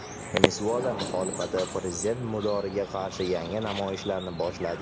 Venesuela muxolifati prezident Maduroga qarshi yangi namoyishlarni boshladi.